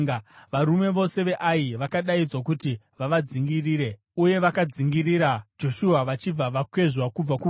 Varume vose veAi vakadaidzwa kuti vavadzingirire, uye vakadzingirira Joshua vachibva vakwezvwa kubva kuguta.